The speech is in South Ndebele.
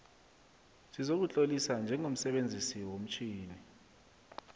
sokuzitlolisa njengomsebenzisi womtjhini